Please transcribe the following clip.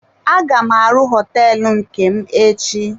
Aga m arụ hoteelu nke m echi.